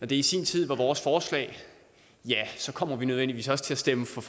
det i sin tid var vores forslag kommer vi nødvendigvis også til at stemme for